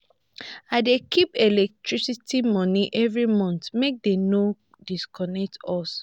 i dey keep electricity moni every month make dem no disconnect us.